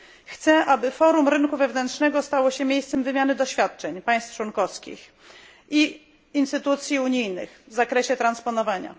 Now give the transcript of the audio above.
Chcę, aby forum rynku wewnętrznego stało się miejscem wymiany doświadczeń państw członkowskich i instytucji unijnych w zakresie transponowania.